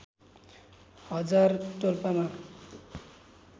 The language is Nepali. हजार डोल्पामा